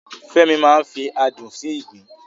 Fẹ́mi máa ń fi adùn sí ìgbín